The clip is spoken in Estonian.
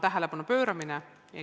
Tähelepanu pööramine.